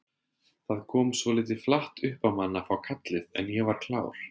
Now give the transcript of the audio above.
Það kom svolítið flatt upp á mann að fá kallið en ég var klár.